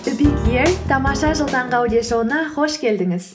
тамаша жыл таңғы аудиошоуына қош келдіңіз